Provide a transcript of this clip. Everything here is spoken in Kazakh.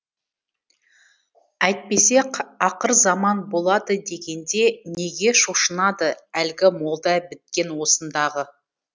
әйтпесе ақыр заман болады дегенде неге шошынады әлгі молда біткен осындағы